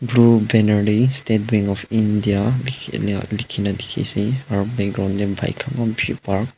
etu banner dae State Bank of India lekhina lekhina dekhe ase aro background dae bike khan eman beshi park .